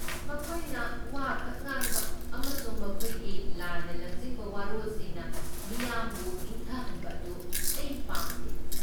ꯃꯈꯣꯏꯅ ꯋꯥꯈꯛ ꯉꯥꯡꯕ ꯑꯃꯁꯨꯡ ꯃꯈꯣꯏꯒꯤ ꯂꯥꯟꯅ ꯂꯝꯖꯤꯡꯕ ꯋꯥꯔꯣꯜꯁꯤꯡꯅ ꯃꯤꯌꯥꯝꯕꯨ ꯏꯪꯊꯍꯟꯕ ꯑꯗꯨ ꯑꯩ ꯄꯥꯝꯗꯦ꯫